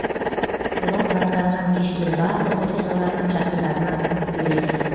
олар бастарынан кешкен барлық оқиғаларды жақындарына айтып береді